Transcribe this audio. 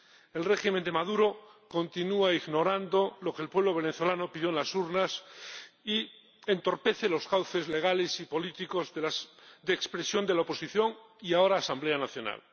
El régimen de Maduro continúa ignorando lo que el pueblo venezolano pidió en las urnas y entorpece los cauces legales y políticos de expresión de la oposición, y ahora Asamblea Nacional.